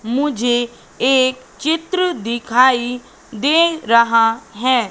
मुझे एक चित्र दिखाई दे रहा है।